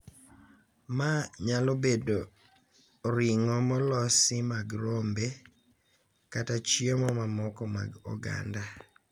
Ma nyalo bedo ring'o molosi mag rombe kata chiemo mamoko mag oganda.